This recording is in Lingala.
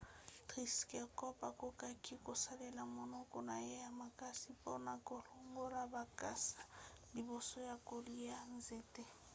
triceratops akokaki kosalela monoko na ye ya makasi mpona kolongola bakasa liboso ya kolia nzete